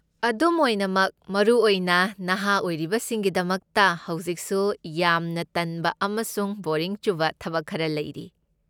ꯑꯗꯨꯝ ꯑꯣꯏꯅꯃꯛ, ꯃꯔꯨꯑꯣꯏꯅ ꯅꯍꯥ ꯑꯣꯏꯔꯤꯕꯁꯤꯡꯒꯤꯗꯃꯛꯇ ꯍꯧꯖꯤꯛꯁꯨ ꯌꯥꯝꯅ ꯇꯟꯕ ꯑꯃꯁꯨꯡ ꯕꯣꯔꯤꯡ ꯆꯨꯕ ꯊꯕꯛ ꯈꯔ ꯂꯩꯔꯤ꯫